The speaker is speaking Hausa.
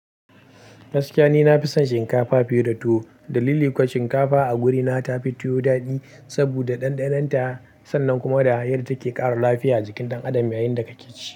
Gaskiya ni nafi son shinkafa fiye da tuwo. Dalili kuwa shinkafa a gurina tafi tuwo daɗi saboda ɗanɗanonta sannan kuma da yadda take ƙara lafiya a jikin ɗan adam yayin da kake ci.